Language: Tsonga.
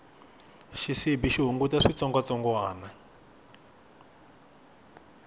xisibi xi hunguta switsongwatsongwani